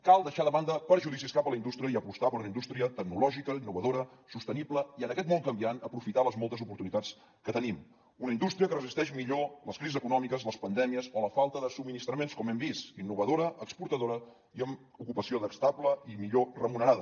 cal deixar de banda prejudicis cap a la indústria i apostar per una indústria tecnològica innovadora sostenible i en aquest món canviant aprofitar les moltes oportunitats que tenim una indústria que resisteix millor les crisis econòmiques les pandèmies o la falta de subministraments com hem vist innovadora exportadora i amb ocupació estable i millor remunerada